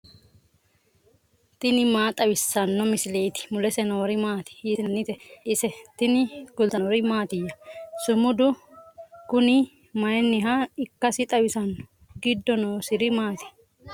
tini maa xawissanno misileeti ? mulese noori maati ? hiissinannite ise ? tini kultannori mattiya? Sumudu kunni mayiinniha ikkassi xawissanno? giddo noosiri maati?